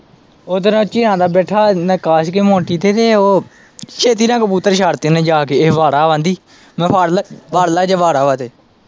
ਉੱਧਰ ਝੀਆਂ ਦਾ ਬੈਠਾ ਕਾਸ਼ ਕੀ ਮੋਨਟੀ ਤੇ ਉਹ ਛੇਤੀ ਨਾਲ ਕਬੂਤਰ ਛੱਡਤੇ ਓਨੇ ਜਾ ਕੇ ਕਹਿੰਦੀ ਇਹ ਵਾੜਾ ਕਹਿੰਦੀ, ਮੈਂ ਕਿਹਾ ਫੜਲ, ਫੜਲੇ ਜੇ ਵਾੜਾ ਵਾ ਤੇ।